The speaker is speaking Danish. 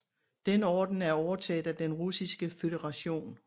Den orden er overtaget af Den Russiske Føderation